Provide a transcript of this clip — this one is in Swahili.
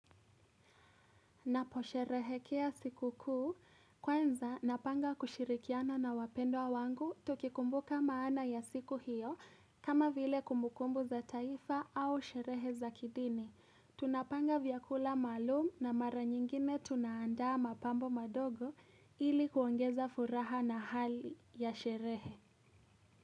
Napo sherehekea siku kuu, kwanza napanga kushirikiana na wapendwa wangu, tukikumbuka maana ya siku hiyo, kama vile kumbukumbu za taifa au sherehe za kidini. Tunapanga vyakula maalum na mara nyingine tunaandaa mapambo madogo ili kuongeza furaha na hali ya sherehe.